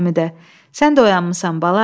Həmidə, sən də oyanmısan, bala?